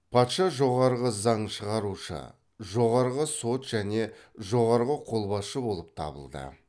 патша жоғарғы заң шығарушы жоғарғы сот және жоғарғы қолбасшы болып табылды